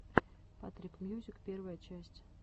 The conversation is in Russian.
патрик мьюзик первая часть